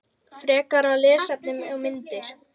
Frekara lesefni og myndir